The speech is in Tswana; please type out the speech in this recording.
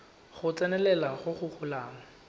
go tsenelela go go golang